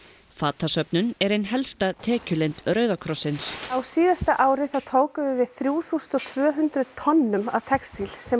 fatasöfnun er ein helsta tekjulind Rauða krossins á síðasta ári þá tókum við þrjú þúsund og tvö hundruð tonnum af textíl sem